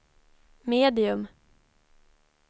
medium